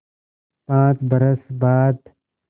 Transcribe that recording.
पाँच बरस बाद